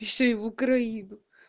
ещё и в украину